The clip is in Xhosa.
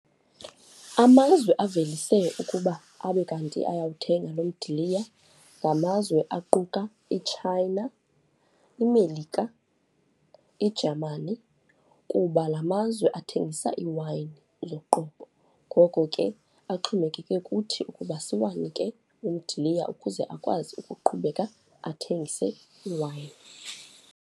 Amazwe avelise ukuba abe kanti ayawuthenga lo mdiliya ngamazwe aquka iChina, iMelika, iJamani kuba la mazwe athengisa iiwayini yoqobo. Ngoko ke axhomekeke kuthi ukuba siwanike umdiliya ukuze akwazi ukuqhubeka athengise iiwayini.